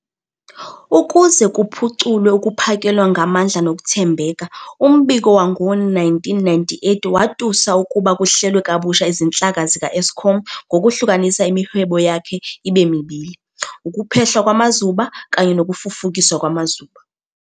Ukuze kuphuculwe ukuphakelwa ngamandla nokuthembeka, umbiko wangowe-1998 watusa ukuba kuhlelwe kabusha izinhlaka zika-Eskom ngokuhlukanisa imihwebo yakhe ibe mibili, ukuphehlwa kwamazuba kanye nokufufukiswa kwamazuba.